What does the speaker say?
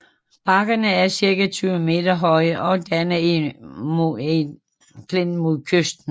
Bakkerne er cirka 20 meter høje og danner en moræneklint mod kysten